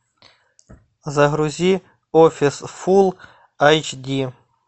загрузи офис фулл эйч ди